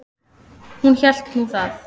Hún hélt nú það.